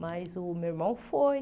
Mas o meu irmão foi.